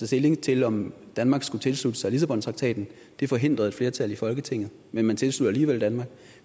stilling til om danmark skulle tilslutte sig lissabontraktaten det forhindrede et flertal i folketinget men man tilsluttede alligevel danmark